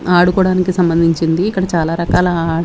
ఆడుకోవడానికి సంబంధించింది ఇక్కడ చాలా రకాల.